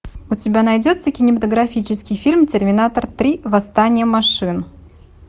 у тебя найдется кинематографический фильм терминатор три восстание машин